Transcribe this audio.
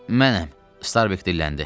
Mənəm, Starbek dilləndi.